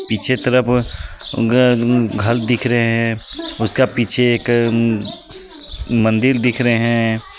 पीछे तरफ घ-घर दिख रहे हे उसका पीछे एक मंदिर दिख रहे है.